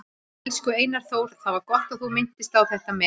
Elsku Einar Þór, það var gott að þú minntist á þetta með